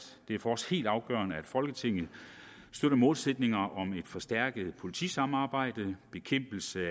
det er for os helt afgørende at folketinget støtter målsætningerne om et forstærket politisamarbejde bekæmpelse